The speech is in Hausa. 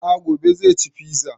A'a gobe zai ci fiza